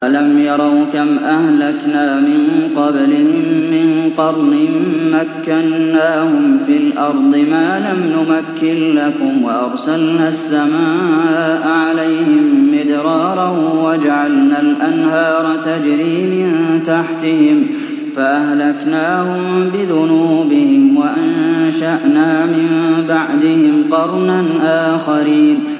أَلَمْ يَرَوْا كَمْ أَهْلَكْنَا مِن قَبْلِهِم مِّن قَرْنٍ مَّكَّنَّاهُمْ فِي الْأَرْضِ مَا لَمْ نُمَكِّن لَّكُمْ وَأَرْسَلْنَا السَّمَاءَ عَلَيْهِم مِّدْرَارًا وَجَعَلْنَا الْأَنْهَارَ تَجْرِي مِن تَحْتِهِمْ فَأَهْلَكْنَاهُم بِذُنُوبِهِمْ وَأَنشَأْنَا مِن بَعْدِهِمْ قَرْنًا آخَرِينَ